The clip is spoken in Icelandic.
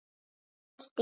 sagði Valdís